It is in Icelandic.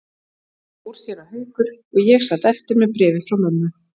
Svo fór séra Haukur og ég sat eftir með bréfið frá mömmu.